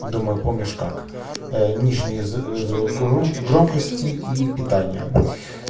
думаю помнишь как нижние звук громкости и питания